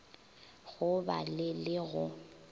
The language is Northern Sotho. go ba le le go